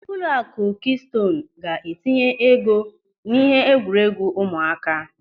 Ụlọakụ Kịstoonu ga-etinye ego n'ihe egwuregwu ụmụaka.